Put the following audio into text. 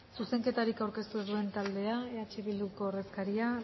zuzenketarik aurkeztu ez duen taldea eh bilduko ordezkaria